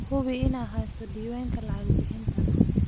Hubi inaad hayso diiwaanka lacag-bixinta.